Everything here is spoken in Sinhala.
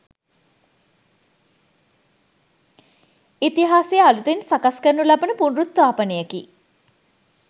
ඉතිහාසය අලුතින් සකස් කරනු ලබන පුනරුත්ථාපනයකි